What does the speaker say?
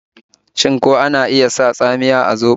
Shin ko ana iya sa tsamiya a zoɓo?